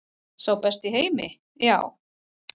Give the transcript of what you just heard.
Sá besti í heimi, já.